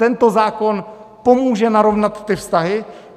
Tento zákon pomůže narovnat ty vztahy.